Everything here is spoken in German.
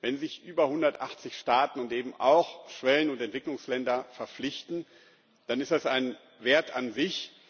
Wenn sich über 180 Staaten und eben auch Schwellen und Entwicklungsländer verpflichten, dann ist das ein Wert an sich.